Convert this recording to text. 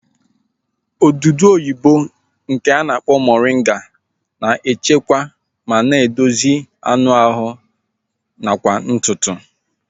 Odudu oyibo nke a na-akpọ moringa na-echekwa ma na-edozi anụ ahụ nakwa ntutu